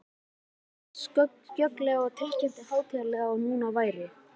Þar stóð hann skjögrandi og tilkynnti hátíðlega, að nú væri